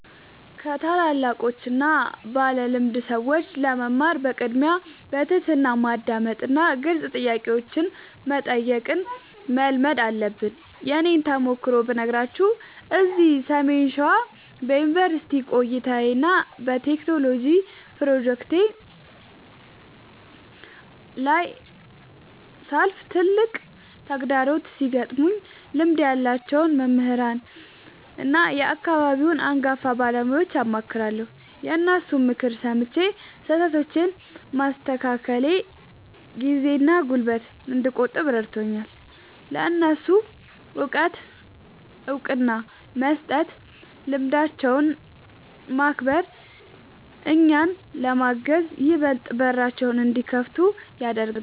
ከታላላቆችና ባለልምድ ሰዎች ለመማር በቅድሚያ በትሕትና ማዳመጥንና ግልጽ ጥያቄዎችን መጠየቅን መልመድ አለብን። የእኔን ተሞክሮ ብነግራችሁ፤ እዚህ ሰሜን ሸዋ በዩኒቨርሲቲ ቆይታዬና በቴክኖሎጂ ፕሮጀክቶቼ ላይ ሳልፍ፣ ትላልቅ ተግዳሮቶች ሲገጥሙኝ ልምድ ያላቸውን መምህራንና የአካባቢውን አንጋፋ ባለሙያዎችን አማክራለሁ። የእነሱን ምክር ሰምቼ ስህተቶቼን ማስተካከሌ ጊዜና ጉልበት እንድቆጥብ ረድቶኛል። ለእነሱ እውቀት እውቅና መስጠትና ልምዳቸውን ማክበር፣ እኛን ለማገዝ ይበልጥ በራቸውን እንዲከፍቱልን ያደርጋል።